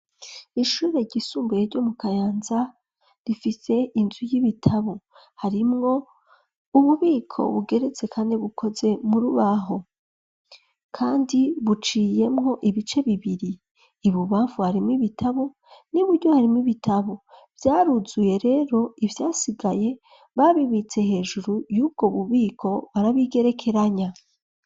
Ishure ryisumbuye, ryo mu Kayanza, rifise inzu y'ibitabo; harimwo, ububiko bugeretse kane, bukoze mu rubaho; kandi buciyemwo, ibice bibiri, ibubamfu, harimwo ibitabo, n'iburyo, harimwo ibitabo; vyaruzuye rero, ivyasigaye, babibitse hejuru, y'ubwo bubiko, barabigerekeranya.